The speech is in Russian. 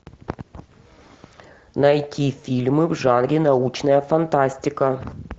найти фильмы в жанре научная фантастика